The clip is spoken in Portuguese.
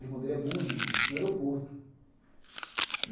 O irmão dele é músico no aeroporto.